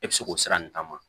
E bɛ se k'o sira nin ta ma